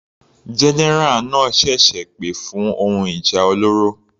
General náà ṣẹ̀ṣẹ̀ pè fún ohun ìjà olóró.